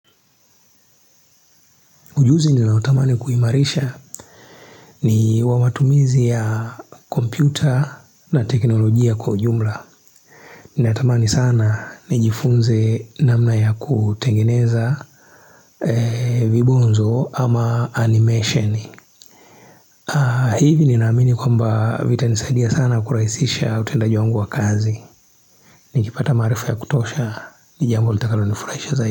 Ujuzi ni nautamani kuhimarisha ni wa matumizi ya kompyuta na teknolojia kwa ujumla. Ninatamani sana ni jifunze namna ya kutengeneza vibonzo ama animation. Hivi ni naamini kwamba vitanisaidia sana kurahisisha utendaji wangu wa kazi. Ni kipata maarifa ya kutosha ni jambo litakalo nifurahisha zaidi.